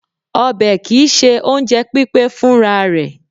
Ọbẹ̀ kì í ṣe oúnjẹ pípé fúnra rẹ̀.